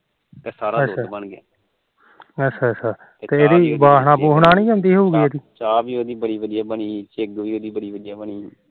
ਚਾਹ ਵੀ ਉਹਦੀ ਬੜੀ ਵਧੀਆਂ ਬਣੀ ਵੀ ਉਹਦੀ ਬੜੀ ਵਧੀਆਂ ਬਣੀ ਅੱਛਾ